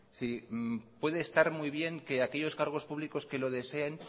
si puede estar muy bien que aquellos cargos públicos que lo deseen